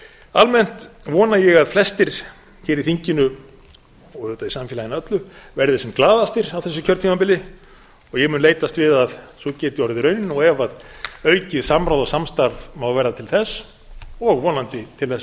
almennt vona ég að flestir hér í þinginu og auðvitað í samfélaginu öllu verði sem glaðastir á þessu kjörtímabili og ég mun leitast við að sú geti orðið raunin og ef aukið samráð og samstarf má verða til þess og vonandi til þess